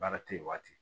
Baara tɛ yen waati